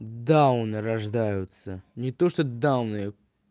дауны рождаются не то что дауны